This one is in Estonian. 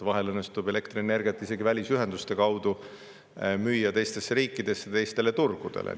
Vahel isegi õnnestub müüa elektrienergiat välisühenduste kaudu teistesse riikidesse, teistele turgudele.